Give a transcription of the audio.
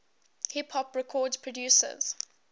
hip hop record producers